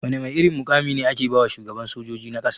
Wana mai irin mukami ne ake bawa shugaban sojoji na ƙasa?